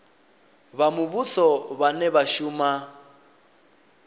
vha muvhuso vhane vha shuma